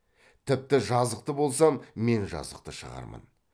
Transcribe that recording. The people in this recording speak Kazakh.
тіпті жазықты болсам мен жазықты шығармын